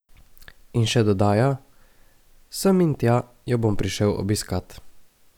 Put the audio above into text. In še dodaja: "Sem in tja jo bom prišel obiskat.